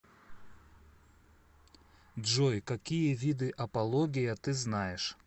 джой какие виды апология ты знаешь